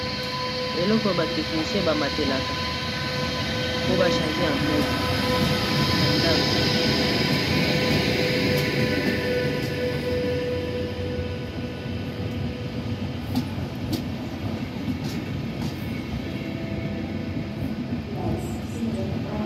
eloko ya ba technician banataka po ba changer ba empoules .